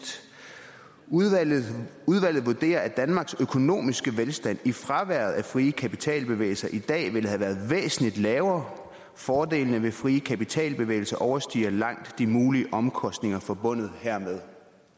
udvalget vurderer at danmarks økonomiske velstand i fraværet af frie kapitalbevægelser i dag ville have været væsentlig lavere fordelene ved frie kapitalbevægelser overstiger langt de mulige omkostninger forbundet hermed